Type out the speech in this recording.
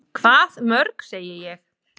Hvað mörg, segi ég.